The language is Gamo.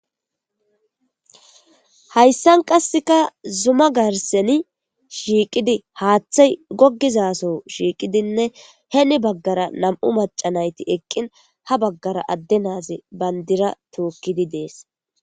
hayssan qasseka zuma garseni shiiqidi haaththay gogizaso shiiqidinne heeni baggara nam7u macanayti eqqin ha baggara adde naazi bandira tookkidi dees